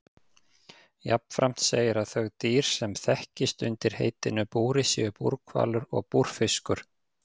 Jafnframt segir að þau dýr sem þekkist undir heitinu búri séu búrhvalur og búrfiskur.